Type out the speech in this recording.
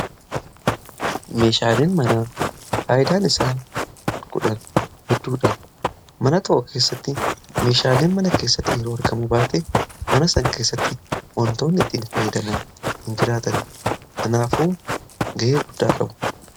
Meeshaaleen manaa faayidaa guddaa qabu isaan keessaa muraasni akka faayaatti fi tajaajila gara garaatiif oolu.